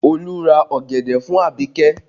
Olu ra ọ̀gẹ̀dẹ̀ fún abike